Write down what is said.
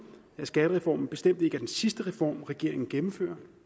at skattereformen bestemt ikke er den sidste reform regeringen gennemfører